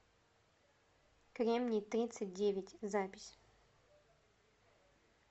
кремний тридцать девять запись